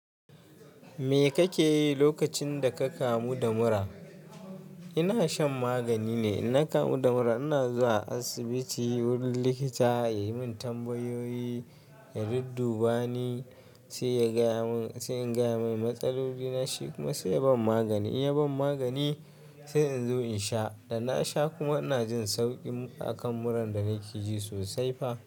Me kake yi lokacin da ka kamu da mura? Ina shan magani ne. In na kamu da mura, ina zuwa asibiti wurin likita ya yi min tambayoyi, ya dudduba ni, sai in gaya mai matsaloli na. Shi kuma sai ya ban magani. In ya ban magani, sai in zo in sha. Da na sha kuma ina jin sauƙi a kan muran da nake ji sosai fa.